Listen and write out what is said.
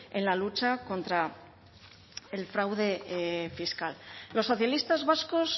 en la lucha contra el fraude fiscal los socialistas vascos